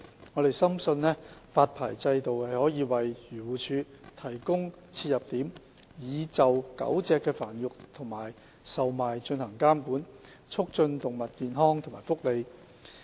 我們深信，發牌制度可以為漁農自然護理署提供切入點，就狗隻的繁育及售賣進行監管，促進動物健康和福利。